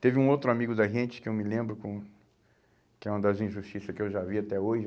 Teve um outro amigo da gente, que eu me lembro com, que é uma das injustiça que eu já vi até hoje.